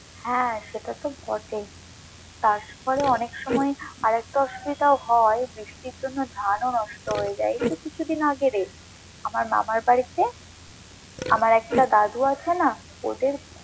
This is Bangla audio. হ্যাঁ সেটা তো বটেই তারপরে অনেক সময় আরেকটা অসুবিধাও হয় বৃষ্টির জন্য ধানও নষ্ট হয়ে যায়, এই তো কিছুদিন আগেরে আমার মামার বাড়িতে আমার একটা দাদু আছে না ওদের।